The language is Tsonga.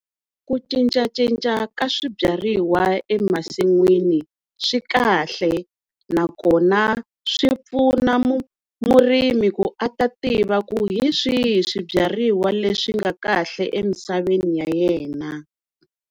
Ku cincacinca ka swibyariwa emasin'wini swikahle nakona swi pfuna murimi ku a ta tiva ku hi swihi swibyariwa leswi nga kahle emisaveni ya yena.